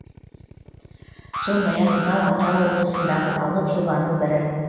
сондай ақ мынау атырау облысындағы алып жобаның бірі